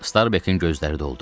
Starbekin gözləri doldu.